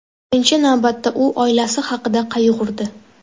Birinchi navbatda u oilasi haqida qayg‘urdi.